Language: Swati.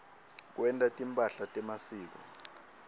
kwenta timphahla temasiko